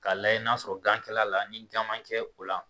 K'a layɛ n'a sɔrɔla gan kɛla a la ni gan mma kɛ o la